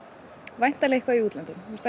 væntanlega eitthvað í útlöndum þú ert